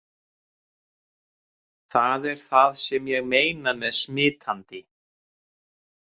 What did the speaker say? Það er það sem ég meina með smitandi!